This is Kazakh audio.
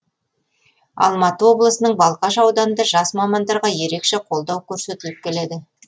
алматы облысының балқаш ауданында жас мамандарға ерекше қолдау көрсетіліп келеді